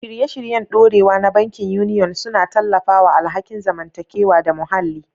Shirye-shiryen dorewa na bankin Union suna tallafawa alhakin zamantakewa da muhalli.